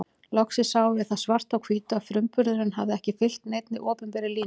Loksins sáum við það svart á hvítu að frumburðurinn hafði ekki fylgt neinni opinberri línu.